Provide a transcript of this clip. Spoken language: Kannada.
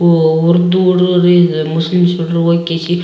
ಉ ಉರ್ದು ಹುಡುಗರು ಇದ್ ಮುಸ್ಲಿಂ ಹುಡುಗ್ರು ಹೋಗ್ ಕಿಸಿ --